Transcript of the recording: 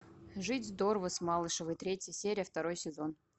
жить здорово с малышевой третья серия второй сезон